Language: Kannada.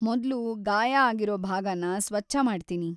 ಮೊದ್ಲು ಗಾಯ ಆಗಿರೋ ಭಾಗನ ಸ್ವಚ್ಛ ಮಾಡ್ತೀನಿ.